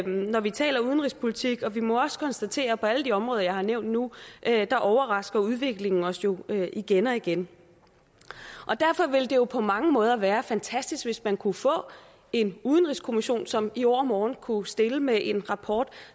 når vi taler udenrigspolitik og vi må også konstatere at på alle de områder jeg har nævnt nu overrasker udviklingen os jo igen og igen derfor ville det jo på mange måder være fantastisk hvis man kunne få en udenrigskommission som i overmorgen kunne stille med en rapport